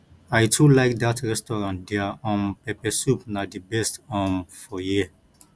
i too like dat restaurant their um pepper soup na di best um for here